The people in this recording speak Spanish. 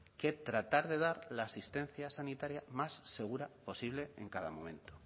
que tratar de dar la asistencia sanitaria más segura posible en cada momento